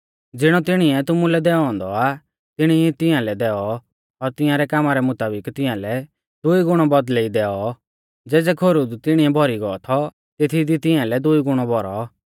ज़िणौ तिणीऐ तुमुलै दैऔ औन्दौ आ तिणी ई तिंया लै दैऔ और तिंयारै कामा रै मुताबिक तिंया लै दुई गुणौ बौदल़ै ई दैऔ ज़ेज़ै खोरु दी तिणिऐ भौरी गौ थौ तेथी दी तिंया लै दुई गुणौ भौरौ